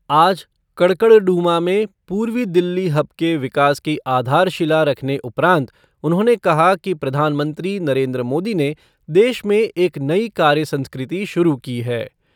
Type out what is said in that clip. आज कड़कड़डूमा में पूर्वी दिल्ली हब के विकास की आधारशिला रखने उपरान्त उन्होंने कहा कि प्रधानमंत्री नरेन्द्र मोदी ने देश में एक नई कार्य संस्कृति शुरू की है।